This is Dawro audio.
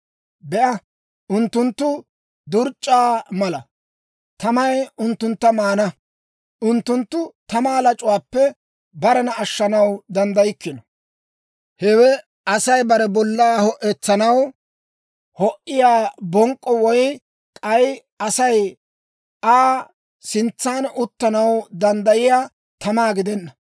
Be'a, unttunttu durc'c'aa mala; tamay unttuntta maana. Unttunttu tamaa lac'uwaappe barena ashshanaw danddaykkino. Hewe Asay bare bollaa ho'etsanaw ho"iyaa bonk'k'o woy k'ay Asay Aa sintsan uttanaw danddayiyaa tamaa gidenna.